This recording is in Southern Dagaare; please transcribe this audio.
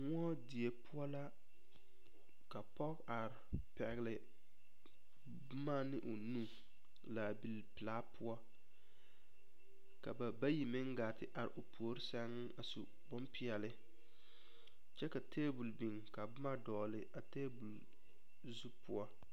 Moɔdie poɔ la ka pɔge are pɛgle boma ne o nu laabilpelaa poɔ ka ba bayi meŋ gaa te are puori sɛŋ a su bompeɛle kyɛ ka tebol biŋ ka boma dɔgle a tebol zu poɔ.